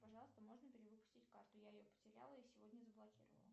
пожалуйста можно перевыпустить карту я ее потеряла и сегодня заблокировала